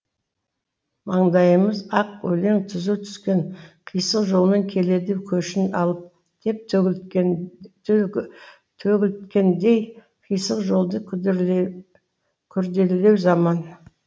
маңдайыма ақ өлең түзу түскен қисық жолмен келеді көшін алып деп төгілткеніндей қисық жолды күрделілеу заман